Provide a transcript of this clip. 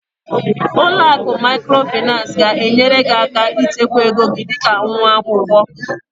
Ụlọ akụ Microfinance ga-enyere gị aka ịchekwa ego dị ka nwa akwụkwọ